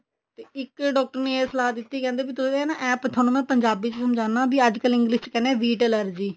ਤੇ ਇੱਕ ਡਾਕਟਰ ਨੇ ਇਹ ਸਲਾਹ ਦਿੱਤੀ ਕਿ even ਥੋਨੂੰ ਮੈਂ ਪੰਜਾਬੀ ਵਿੱਚ ਸਮਝਾਉਣਾ ਅੱਜਕਲ English ਚ ਕਹਿੰਦੇ ਹਾਂ wheat allergy